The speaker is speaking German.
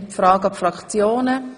Das ist der Fall.